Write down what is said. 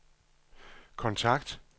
kontakt